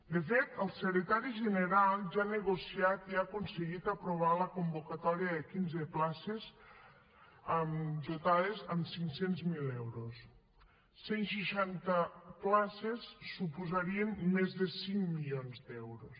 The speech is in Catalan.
de fet el secretari general ja ha negociat i ha aconseguit aprovar la convocatòria de quinze places dotades amb cinc cents miler euros cent seixanta places suposarien més de cinc milions d’euros